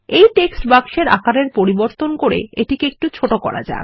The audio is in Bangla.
এই টেক্সট বাক্সের আকারের পরিবর্তন করে এটিকে একটু ছোট করা যাক